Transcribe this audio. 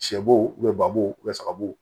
Sɛ bo bɛ babo saga bo